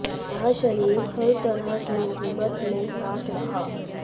यह शरीर हर तरह की मुसीबत में साथ रहा